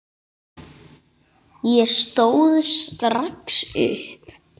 Ég stóð strax upp.